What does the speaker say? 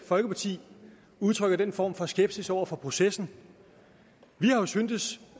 folkeparti udtrykker den form for skepsis over for processen vi har syntes